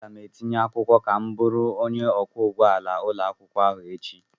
Aga m etinye akwụkwọ ka m bụrụ onye ọkwọ ụgbọala ụlọakwụkwọ ahụ echi.